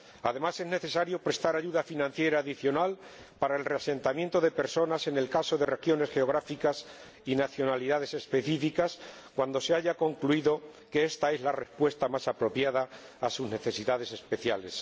Además, es necesario prestar ayuda financiera adicional para el reasentamiento de personas en el caso de regiones geográficas y nacionalidades específicas cuando se haya concluido que ésta es la respuesta más apropiada a sus necesidades especiales.